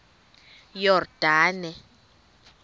yordane